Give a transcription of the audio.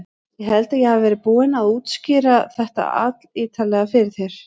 Ég held ég hafi verið búinn að útskýra þetta allítarlega fyrir þér.